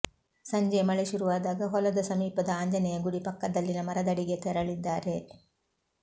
ಸಂಜೆ ಮಳೆ ಶುರುವಾದಾಗ ಹೊಲದ ಸಮೀಪದ ಆಂಜನೇಯ ಗುಡಿ ಪಕ್ಕದಲ್ಲಿನ ಮರದಡಿಗೆ ತೆರಳಿದ್ದಾರೆ